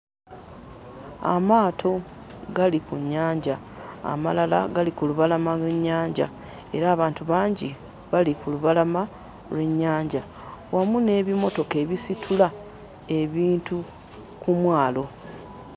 Amaato gali ku nnyanja amalala gali ku lubalama lw'ennyanja era abantu bangi bali ku lubalama lw'ennyanja wamu n'ebimotoka ebisitula ebintu ku mwalo.